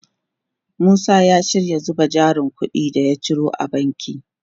Musa ya shirya zuba jarin kudin da ya ciyo a banki.